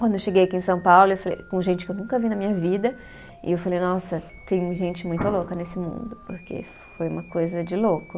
Quando eu cheguei aqui em São Paulo, eu falei com gente que eu nunca vi na minha vida, e eu falei, nossa, tem gente muito louca nesse mundo, porque foi uma coisa de louco.